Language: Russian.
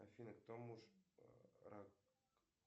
афина кто муж